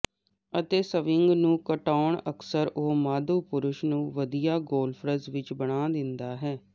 ਅਤੇ ਸਵਿੰਗ ਨੂੰ ਘਟਾਉਣਾ ਅਕਸਰ ਉਹ ਮਾਧੋ ਪੁਰਸ਼ ਨੂੰ ਵਧੀਆ ਗੌਲਫਰਜ਼ ਵਿੱਚ ਬਣਾ ਦਿੰਦਾ ਹੈ